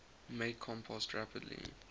make compost rapidly